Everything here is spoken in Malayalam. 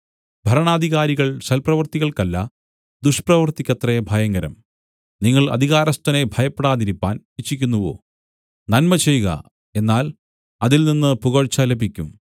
ഭരണാധികാരികൾ സൽപ്രവൃത്തിക്കല്ല ദുഷ്പ്രവൃത്തിക്കത്രേ ഭയങ്കരം നിങ്ങൾ അധികാരസ്ഥനെ ഭയപ്പെടാതിരിപ്പാൻ ഇച്ഛിക്കുന്നുവോ നന്മചെയ്ക എന്നാൽ അതിൽ നിന്നു പുകഴ്ച ലഭിക്കും